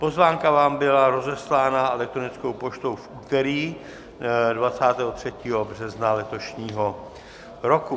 Pozvánka vám byla rozeslána elektronickou poštou v úterý 23. března letošního roku.